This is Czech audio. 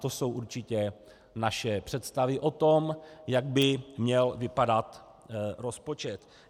To jsou určitě naše představy o tom, jak by měl vypadat rozpočet.